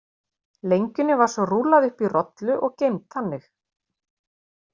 Lengjunni var svo rúllað upp í rollu og geymd þannig.